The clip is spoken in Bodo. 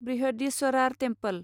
बृहदीस्वरार टेम्पल